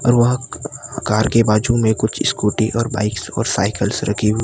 और वहां कार के बाजू में कुछ स्कूटी और बाइकस और साइकिलस रखी हु--